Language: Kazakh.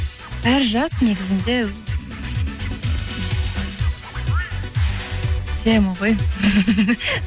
әр жас негізінде тема ғой